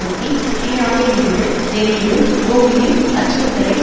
ஒட்டி சீனாவில் இருந்து வெளியேறும் கூகிளின் அச்சுறுத்தலை